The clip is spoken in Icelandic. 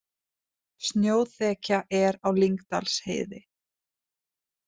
Snjóþekja er á Lyngdalsheiði